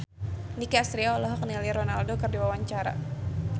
Nicky Astria olohok ningali Ronaldo keur diwawancara